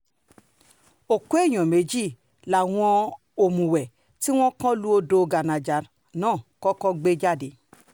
òkú èèyàn méjì làwọn òmùwé tí wọ́n kàn lu odò gánàjà náà kọ́kọ́ rí gbé jáde